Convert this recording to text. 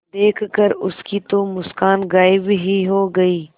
देखकर उसकी वो मुस्कान गायब ही हो गयी